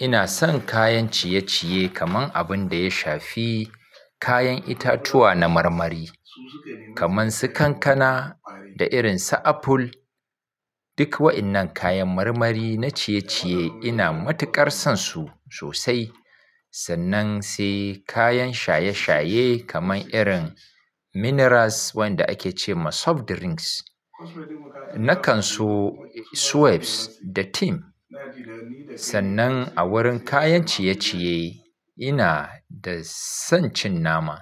ina son kayan ciye-ciye kaman abin da ya shafi kayan itatuwa na marmari kamar su kankana da irin su aful. Duk wa'yannan kayan marmari na ciye-ciye ina matuƙar son su sosai. Sannan sai kayan shaye-shaye kamar irin minerals wanda ake ce ma soft drinks. Na kan so Suweps da Tim. Sannan a wurin kayan ciye-ciye ina da son cin nama.